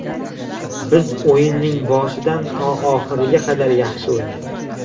Biz o‘yinning boshidan to oxiriga qadar yaxshi o‘ynadik.